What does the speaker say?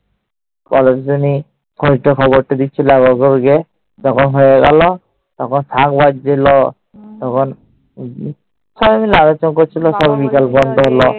ওরা দুজনই খোঁজটা খবরটা দিচ্ছিল আমার ঘরে গিয়ে। যখন হয়ে গেল, তখন শাঁখ বাজছিল। তখন সবাই মিলে আলোচনা করছিল